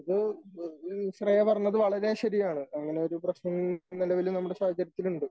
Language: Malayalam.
ഇത് ശ്രേയ പറഞ്ഞത് വളരെ ശരിയാണ് അങ്ങനെ ഒരു പ്രശ്നം നിലവില് നമ്മുടെ സാഹചര്യത്തിലുണ്ട്.